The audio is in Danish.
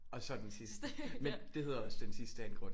Og så Den Sidste men det hedder også Den Sidste af en grund ikke